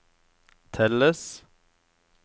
telles